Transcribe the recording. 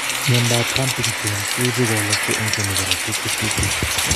Mnyandoap Huntington koibu kowalakse eng' che mi korotiik HTT.